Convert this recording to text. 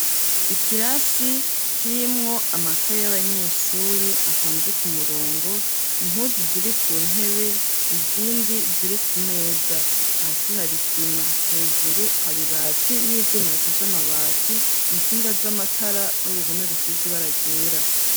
Ikirasi kirimwo amakaye y'abanyeshuri apanze ku murongo, impuzu ziri ku ntebe izindi ziri ku meza ,hasi hari sima hejuru hari bati n'ivuma bifashe amabati, intsinga z'amatara n'uruhome rusize ibara ryera.